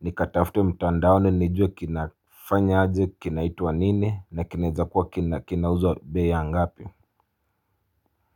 nikatafute mtandaon nijue kinafanya aje kinaitwa nini na kinaezakuwa kinauzwa bei ya ngapi Muzika.